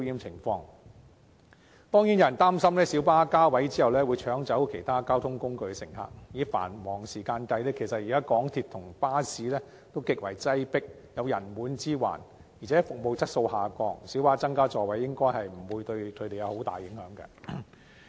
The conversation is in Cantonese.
有人擔心小巴加位後會搶走其他交通工具的乘客，但現時在繁忙時段，港鐵和巴士均極為擠迫，有人滿之患，而且服務質素下降，小巴增加座位應不會對它們構成重大影響。